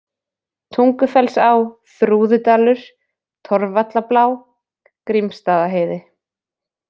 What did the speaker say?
Tungufellsá, Þrúðudalur, Torfvallablá, Grímsstaðaheiði